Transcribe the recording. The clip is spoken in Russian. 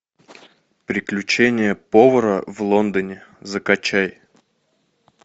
приключения повара в лондоне закачай